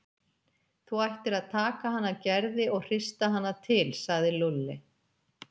Þú ættir að taka hana Gerði og hrista hana til sagði Lúlli.